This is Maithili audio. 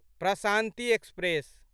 प्रशान्ति एक्सप्रेस